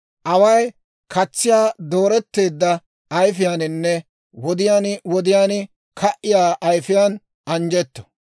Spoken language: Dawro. Away katsiyaa dooretteedda ayifiyaaninne wodiyaan wodiyaan ka"iyaa ayifiyaan anjjetto.